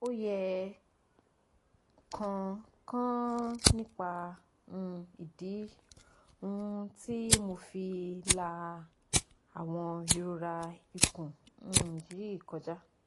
oye kan kan nipa um idi um ti mo fi la awon irora ikun um yi koja?